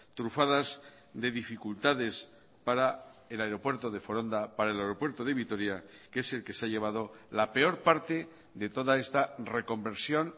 trufadas de dificultades para el aeropuerto de foronda para el aeropuerto de vitoria que es el que se ha llevado la peor parte de toda esta reconversión